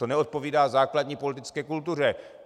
To neodpovídá základní politické kultuře.